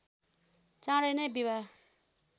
चाँडै नै विवाह